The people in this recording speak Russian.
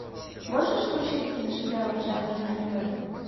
можешь включить киношедевр жанр аниме